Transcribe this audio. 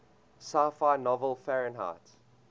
sci fi novel fahrenheit